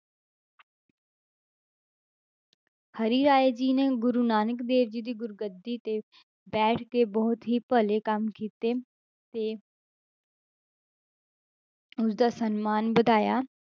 ਹਰਿਰਾਏ ਜੀ ਨੇ ਗੁਰੂ ਨਾਨਕ ਦੇਵ ਜੀ ਦੀ ਗੁਰੂਗੱਦੀ ਤੇ ਬੈਠ ਕੇ ਬਹੁਤ ਹੀ ਭਲੇ ਕੰਮ ਕੀਤੇ ਤੇ ਉਸਦਾ ਸਨਮਾਨ ਵਧਾਇਆ।